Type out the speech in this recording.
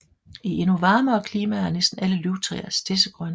I endnu varmere klimaer er næsten alle løvtræer stedsegrønne